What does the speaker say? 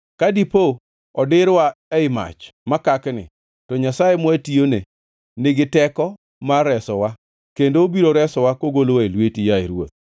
Ka dipo odirwa ei mach makakni, to Nyasaye mwatiyone nigi teko mar resowa, kendo obiro resowa kogolowa e lweti, yaye ruoth.